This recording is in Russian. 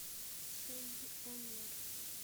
суйонер